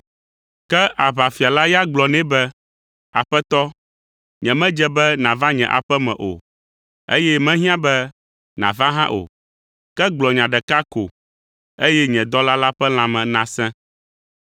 Ke aʋafia la ya gblɔ nɛ be, “Aƒetɔ, nyemedze be nàva nye aƒe me o, eye mehiã be nàva hã o. Ke gblɔ nya ɖeka ko, eye nye dɔla la ƒe lãme nasẽ.